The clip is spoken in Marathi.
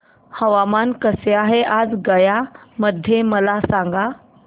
हवामान कसे आहे आज गया मध्ये मला सांगा